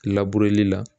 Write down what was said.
labureli la